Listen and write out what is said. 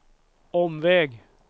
omväg